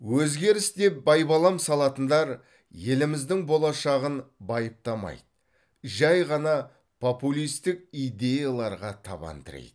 өзгеріс деп байбалам салатындар еліміздің болашағын байыптамайды жай ғана популистік идеяларға табан тірейді